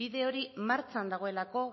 bide hori martxan dagoelako